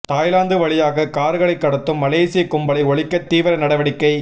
Thailand வழியாக கார்களைக் கடத்தும் மலேசிய கும்பலை ஒழிக்க தீவிர நடவடிக்கை